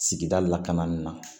Sigida lakana na